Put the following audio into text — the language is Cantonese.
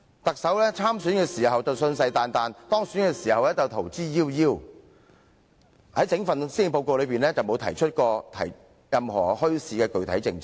她在參選時信誓旦旦，當選後卻逃之夭夭，在整份施政報告當中全無提出任何具體的墟市政策。